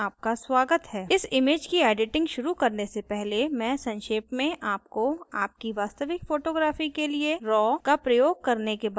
इस image की editing शुरू करने से पहले मैं संक्षेप में आपको आपकी वास्तविक photography के लिए raw का प्रयोग करने के बारे में बताना चाहती हूँ